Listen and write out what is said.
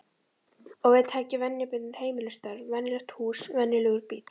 Og við taki venjubundin heimilisstörf, venjulegt hús, venjulegur bíll.